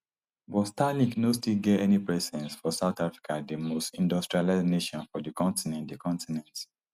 but starlink no still get any presence for south africa di most industrialised nation for di continent di continent